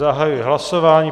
Zahajuji hlasování.